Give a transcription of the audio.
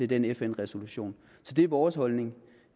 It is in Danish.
den fn resolution så det er vores holdning